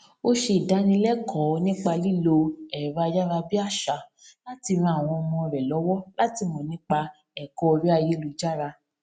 ó ṣe ìdánilẹkọọ nípa lílo ẹrọayárabíàṣá láti ran àwọn ọmọ rẹ lọwọ láti mọ nípa ẹkọ orí ayélujára